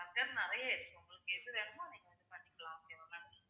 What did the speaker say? நிறைய இருக்கு உங்களுக்கு எது வேணுமோ அத இது பண்ணிக்கலாம் okay வா ma'am